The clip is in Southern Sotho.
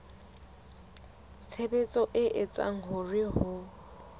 tshebetso e etsang hore ho